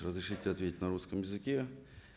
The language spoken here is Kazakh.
разрешите ответить на русском языке